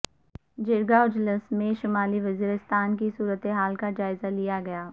جرگہ اجلاس میں شمالی وزیرستان کی صورت حال کا جائزہ لیا گیا